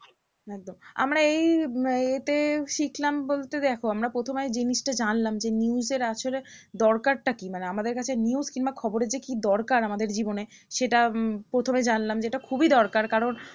আচ্ছা আমরা এই ইয়েতে শিখলাম বলতে দেখো আমরা প্রথমে জিনিসটা জানলাম যে news এর আসলে দরকারটা কি? মানে আমাদের কাছে news কিংবা খবরের যে কি দরকার আমাদের জীবনে সেটা উম